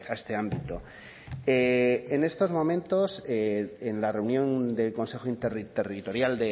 este ámbito en estos momentos en la reunión del consejo interterritorial